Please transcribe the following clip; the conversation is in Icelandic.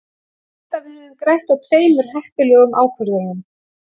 Ég held að við höfum grætt á tveimur heppilegum ákvörðunum.